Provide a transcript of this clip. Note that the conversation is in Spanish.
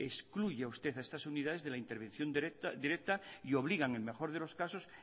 excluye usted a estas unidades de la intervención directa y obliga en el mejor de los casos